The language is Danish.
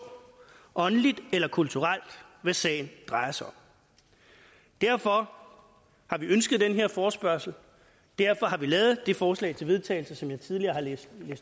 åndeligt eller kulturelt hvad sagen drejer sig om derfor har vi ønsket den her forespørgsel og derfor har vi lavet det forslag til vedtagelse som jeg tidligere har læst